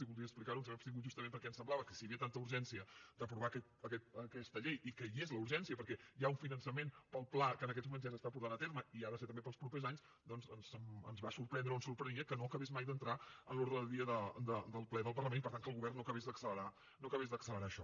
i voldria explicar ho ens hem abstingut justament perquè ens semblava que si hi havia tanta urgència d’aprovar aquesta llei i que hi és la urgència perquè hi ha un finançament per al pla que en aquests moments ja s’està portant a terme i ha de ser també per als propers anys doncs ens va sorprendre o ens sorprenia que no acabés mai d’entrar en l’ordre del dia del ple del parlament i per tant que el govern no acabés d’accelerar això